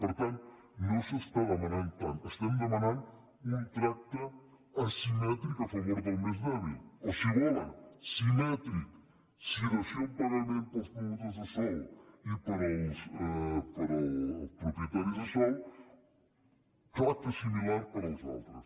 per tant no s’està demanant tant estem demanant un tracte asimètric a favor del més dèbil o si ho volen simètric si dació en pagament per als promotors de sòl i per als propietaris de sòl tracte similar per als altres